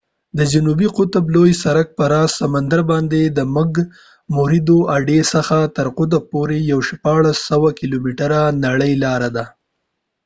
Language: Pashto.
د جنوبي قطب لوی سرک په راس سمندرباندې د مک موردو اډې څخه تر قطب پورې یوه شپاړلس سوه کیلومتره نرۍ لار ده